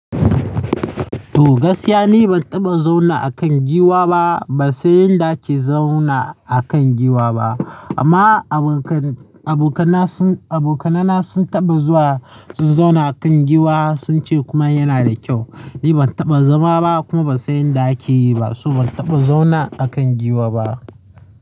To gaskiya ni ban taɓa zauna a kan giwa ba, ban san yanda ake zauna a kan giwa ba. Amma abokan, abokanna sun, abokanaina sun taɓa zuwa su zauna a kan giwa, sun ce kuma yana da kyau. Ni ban taɓa zama ba kuma ba san yanda ake yi ba, so ban taɓa zauna a kan giwa ba.